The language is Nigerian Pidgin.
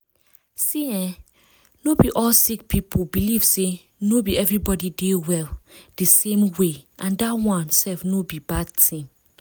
see eeh no be all sick people believe say no be everybody dey well di same way and dat one sef no be bad tin.